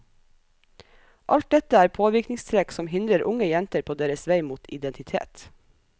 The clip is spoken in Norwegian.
Alt dette er påvirkningstrekk som hindrer unge jenter på deres vei mot identitet.